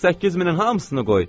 8000-in hamısını qoy.